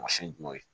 Mansin jumɛnw ye